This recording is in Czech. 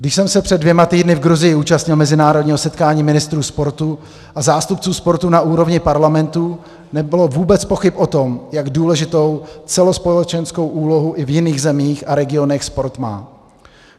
Když jsem se před dvěma týdny v Gruzii účastnil mezinárodního setkání ministrů sportu a zástupců sportu na úrovni parlamentů, nebylo vůbec pochyb o tom, jak důležitou celospolečenskou úlohu i v jiných zemích a regionech sport má.